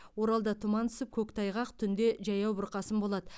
оралда тұман түсіп көктайғақ түнде жаяу бұрқасын болады